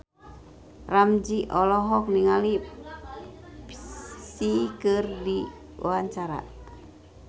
Ramzy olohok ningali Psy keur diwawancara